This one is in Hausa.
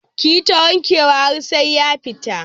Ki yi ta wanke wa har sai ya fita.